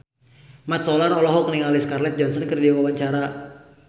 Mat Solar olohok ningali Scarlett Johansson keur diwawancara